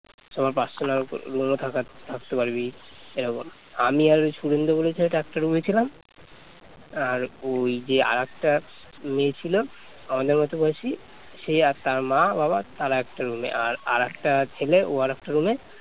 তেমন আমি আর শুভেন্দু বলে ছেলেটা একটা রুমে ছিলাম আর ওই যে আর ওই যে আরএকটা মেয়ে ছিল আমাদের মত বয়সী সে আর তার মা বাবা তারা একটা রুমে আর আর একটা ছেলে ও আর একটা রুমে